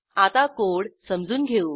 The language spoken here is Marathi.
आता कोड समजून घेऊ